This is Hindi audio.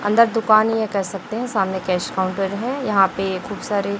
अंदर दुकान है यह कह सकते हैं सामने कॅश काउंटर हैं यहाँ पे खूब सारे--